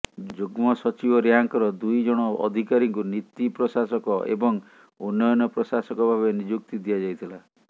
ଯୁଗ୍ମ ସଚିବ ରାଙ୍କର ଦୁଇ ଜଣ ଅଧିକାରୀଙ୍କୁ ନୀତି ପ୍ରଶାସକ ଏବଂ ଉନ୍ନୟନ ପ୍ରଶାସକ ଭାବେ ନିଯୁକ୍ତି ଦିଆଯାଇଥିଲା